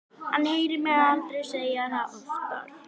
Hann heyrir mig aldrei segja það oftar.